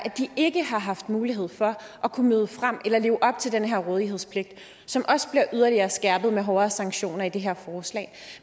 at de ikke har haft mulighed for at kunne møde frem eller leve op til den her rådighedspligt som også bliver yderligere skærpet med hårdere sanktioner i det her forslag